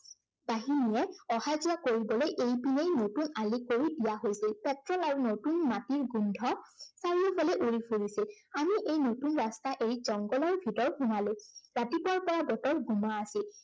বাহিনীয়ে অহা যোৱা কৰিবলৈ এইপিনেই নতুন আলি কৰি দিয়া হৈছিল। তৎসত্তে নতুন মাটিৰ গোন্ধ চাৰিওফালে উৰি ফুৰিছিল। আমি এি নতুন ৰাস্তা এৰি জংঘলৰ ভিতৰত সোমালো। ৰাতপুৱাৰ পৰা বতৰ গোমা আছিল।